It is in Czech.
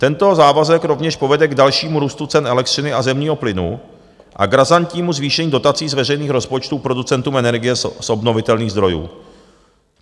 Tento závazek rovněž povede k dalšímu růstu cen elektřiny a zemního plynu a k razantnímu zvýšení dotací z veřejných rozpočtů producentům energie z obnovitelných zdrojů.